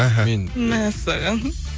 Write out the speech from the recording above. мхм мәссаған